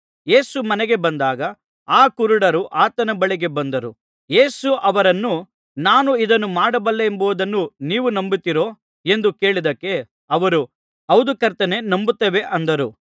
ಯೇಸು ಮನೆಗೆ ಬಂದಾಗ ಆ ಕುರುಡರು ಆತನ ಬಳಿಗೆ ಬಂದರು ಯೇಸು ಅವರನ್ನು ನಾನು ಇದನ್ನು ಮಾಡಬಲ್ಲೆನೆಂಬುದನ್ನು ನೀವು ನಂಬುತ್ತೀರೋ ಎಂದು ಕೇಳಿದ್ದಕ್ಕೆ ಅವರು ಹೌದು ಕರ್ತನೇ ನಂಬುತ್ತೇವೆ ಅಂದರು